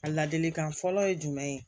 A ladilikan fɔlɔ ye jumɛn ye